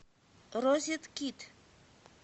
розеткит